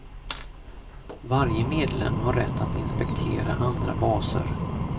Varje medlem har rätt att inspektera andra baser.